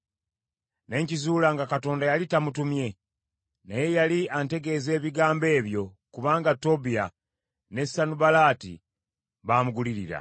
Ne nkizuula nga Katonda yali tamutumye, naye yali antegeeza ebigambo ebyo kubanga Tobiya ne Sanubalaati baamugulirira.